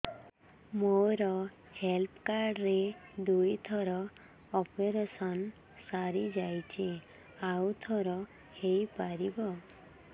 ମୋର health card ରେ ଦୁଇ ଥର ଅପେରସନ ସାରି ଯାଇଛି ଆଉ ଥର ହେଇପାରିବ